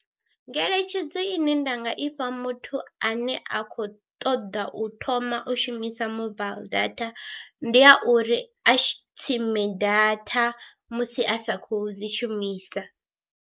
Ngeletshedzo ine nda nga ifha muthu ane a khou ṱoḓa u thoma u shumisa mobile data, ndi ya uri a tsime data musi a sa khou dzi shumisa.